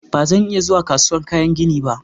Ba zan iya zuwa kasuwar kayan gini ba.